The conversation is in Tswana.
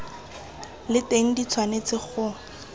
le teng di tshwanetse go